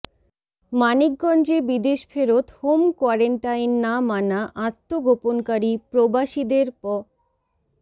মানিকগঞ্জে বিদেশফেরত home quarantine না মানা আত্মগোপনকারী প্রবাসীদের প